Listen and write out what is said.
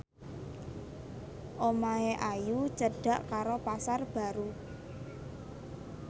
omahe Ayu cedhak karo Pasar Baru